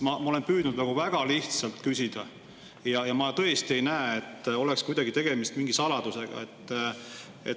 Ma olen püüdnud väga lihtsalt küsida ja ma tõesti ei näe, et kuidagi oleks tegemist mingi saladusega.